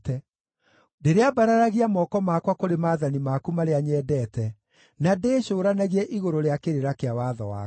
Ndĩrĩambararagia moko makwa kũrĩ maathani maku marĩa nyendete, na ndĩcũũranagie igũrũ rĩa kĩrĩra kĩa watho waku.